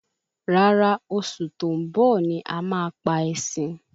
Rárá oṣù tó ń bọ̀ ní a ma pa ẹṣin